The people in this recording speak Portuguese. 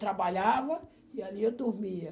Trabalhava e ali eu dormia.